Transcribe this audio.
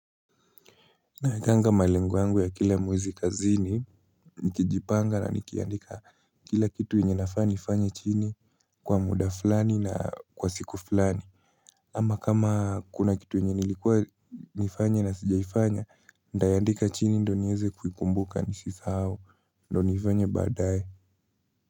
Naekanga malengo yangu ya kila mwezi kazini, nikijipanga na nikiandika kila kitu yenye nafaa nifanye chini kwa muda fulani na kwa siku fulani. Ama kama kuna kitu yenye nilikuwa nifanye na sijaifanya, nitayaandika chini ndio nieze kuikumbuka nisisahau, ndo nifanye baadaye.